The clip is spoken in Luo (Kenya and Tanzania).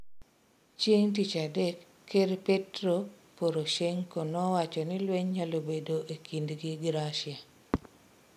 Chieng' tich adek ker Petro Poroshenko nowacho ni lweny nyalo bedo ekindgi gi Russia.